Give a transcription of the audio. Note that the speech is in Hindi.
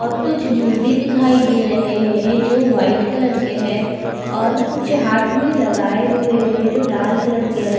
और कुछ ज्वेलरी दिखाई दे रहे है जो वाइट कलर के है और कुछ हाथ में लगाये हुए है जो लाल कलर के है।